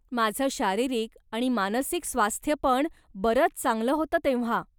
माझं शारीरिक आणि मानसिक स्वास्थ्य पण बरंच चांगलं होतं तेव्हा.